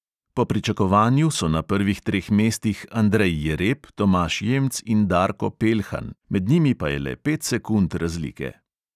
Po pričakovanju so na prvih treh mestih andrej jereb, tomaž jemc in darko peljhan, med njimi pa je le pet sekund razlike.